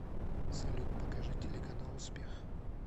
салют покажи телеканал успех